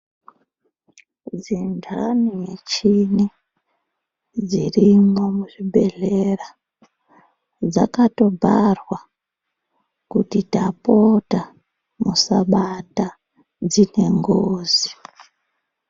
Dzendani michini dzirimwo muchibhedhlera dzakatobharwa kuti tapota musabata dzine ngozi.